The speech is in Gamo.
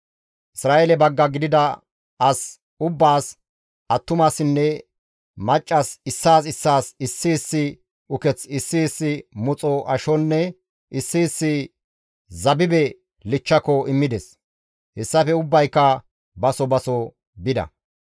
Isra7eele bagga gidida as ubbaas, attumasinne maccas issaas issaas issi issi uketh, issi issi muxo ashonne issi issi zabibe kompa immides; hessafe ubbayka baso baso bida.